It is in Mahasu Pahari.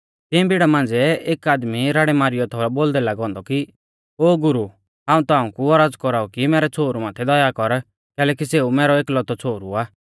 तियें भीड़ा मांझ़िऐ कु एक आदमी राड़ै मारीयौ थौ बोलदै लागौ औन्दौ कि ओ गुरु हाऊं ताऊं कु औरज़ कौराऊ कि मैरै छ़ोहरु माथै दया कर कैलैकि सेऊ मैरौ एकलौतौ छ़ोहरु आ